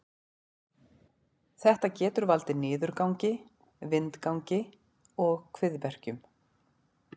Þetta getur valdið niðurgangi, vindgangi og kviðverkjum.